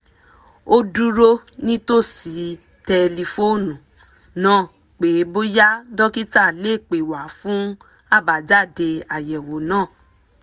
ó dúró nítòsí tẹlifóònù náà pé bóyá dókítà lè pè wá fún àbájáde àyẹ̀wò náà